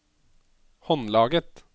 håndlaget